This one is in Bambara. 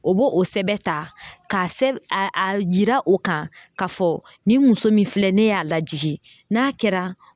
O b'o o sɛbɛn ta, k'a a a yira o kan k'a fɔ nin muso min filɛ ne y'a lajigin n'a kɛra.